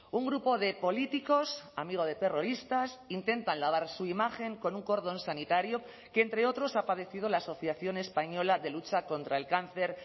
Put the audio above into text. un grupo de políticos amigo de terroristas intentan lavar su imagen con un cordón sanitario que entre otros ha padecido la asociación española de lucha contra el cáncer